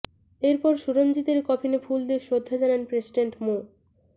এর পর সুরঞ্জিতের কফিনে ফুল দিয়ে শ্রদ্ধা জানান প্রেসিডেন্ট মো